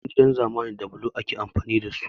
Yawancin gidan zamani da blo ake amfani da su